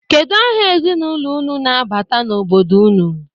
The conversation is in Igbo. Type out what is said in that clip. Kedu aha ezinụlọ unu na-abata n'obodo unu?